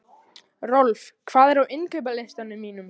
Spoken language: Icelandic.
Rolf, hvað er á innkaupalistanum mínum?